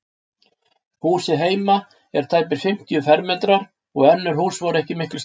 Húsið heima er tæpir fimmtíu fermetrar og önnur hús voru ekki miklu stærri.